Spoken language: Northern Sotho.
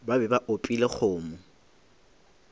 ba be ba opile kgomo